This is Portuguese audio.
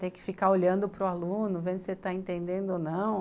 Ter que ficar olhando para o aluno, vendo se ele está entendendo ou não.